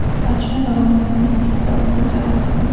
Otishma davomida politsiya zobiti jarohat oldi.